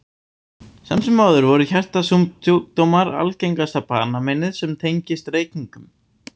Samt sem áður eru hjartasjúkdómar algengasta banameinið sem tengist reykingum.